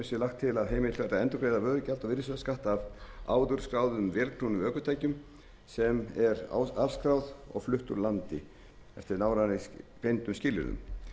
að endurgreiða vörugjald og virðisaukaskatt af áður skráðum vélknúnum ökutækjum sem eru afskráð og flutt úr landi eftir nánar greindum skilyrðum